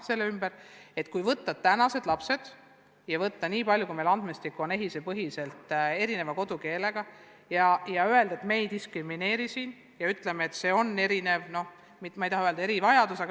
Võtsime aluseks, kui palju meil üldse lapsi on ja kui palju on EHIS-e andmetel mitte-eesti kodukeelega lapsi, keda me ei taha diskrimineerida ja ütelda, et neil on erivajadus.